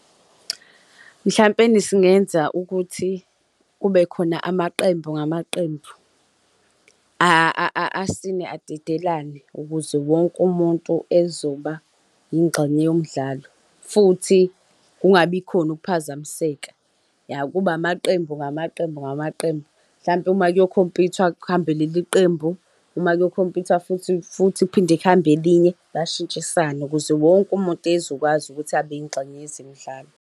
Mhlampeni singenza ukuthi kube khona amaqembu ngamaqembu, asine adedelane ukuze wonke umuntu ezoba yingxenye yomdlalo futhi kungabikhona ukuphazamiseka, ya kube amaqembu ngamaqembu ngamaqembu. Mhlawumpe uma kuyokhompithwa kuhambe leli qembu uma kuyokhompithwa futhi futhi kuphinde kuhambe elinye bashintshisane ukuze wonke umuntu ezokwazi ukuthi abe yingxenye yezemidlalo.